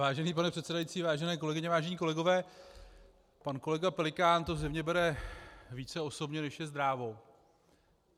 Vážený pane předsedající, vážené kolegyně, vážení kolegové, pan kolega Pelikán to zřejmě bere více osobně, než je zdrávo.